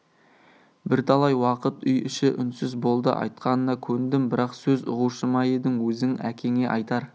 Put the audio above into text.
бірталай уақыт үй іші үнсіз болды айтқанына көндім бірақ сөз ұғушы ма едің өзің әкеңе айтар